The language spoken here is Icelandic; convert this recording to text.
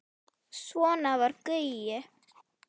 Svona var Gaui.